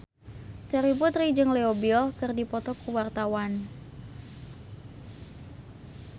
Terry Putri jeung Leo Bill keur dipoto ku wartawan